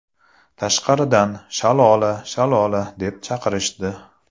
Tashqaridan ‘Shalola, Shalola’ deb chaqirishdi.